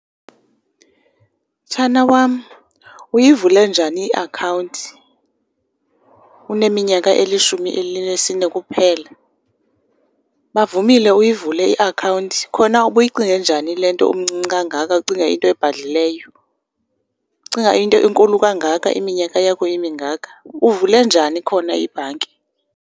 Mtshana wam, uyivule njani iakhawunti uneminyaka elishumi elinisine kuphela? Bavumile uyivule iakhawunti? Khona ubuyicinge njani le nto umncinci kangaka, ucinge into ebhadlileyo, ucinga into enkulu kangaka iminyaka yakho imingaka? Uvule njani khona ibhanki?